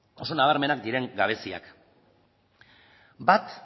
oso nabarmenak diren gabeziak bat